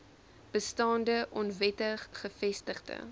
bestaande onwettig gevestigde